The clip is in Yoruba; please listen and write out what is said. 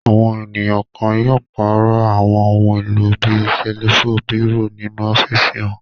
Àwọn ènìyàn kan yóò pàrọ̀ àwọn ohun-èlò bí i ṣẹ́lífù, bírò nínú ọ́fíísì wọn.